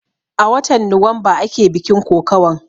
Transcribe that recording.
A watan nuwamba ake bikin kokawan